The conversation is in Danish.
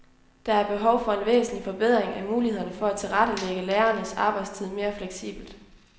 Der er behov for en væsentlig forbedring af mulighederne for at tilrettelægge lærernes arbejdstid mere fleksibelt.